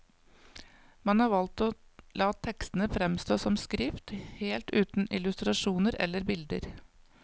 Man har valgt å la tekstene fremstå som skrift, helt uten illustrasjoner eller bilder.